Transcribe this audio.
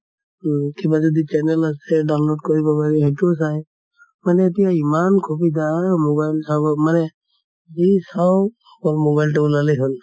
উম কিবা যদি channel আছে download কৰিব পাৰি সেইটোও চায়। মানে এতিয়া ইমান সুবিধা mobile চাব মানে যি চাও অকল mobile তো উলালে হʼল।